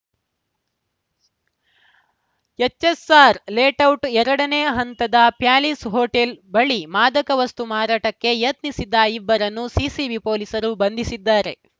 HSR layout ಎರಡನೇ ಹಂತದ palace hotel ಬಳಿ ಮಾದಕ ವಸ್ತು ಮಾರಾಟಕ್ಕೆ ಯತ್ನಿಸಿದ್ದ ಇಬ್ಬರನ್ನು ಸಿಸಿಬಿ ಪೊಲೀಸರು ಬಂಧಿಸಿದ್ದಾರೆ